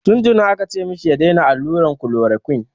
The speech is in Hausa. Tun tuni aka ce ma shi ya daina alluran chloroquine.